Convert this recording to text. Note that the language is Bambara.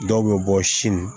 Dɔw bɛ bɔ sin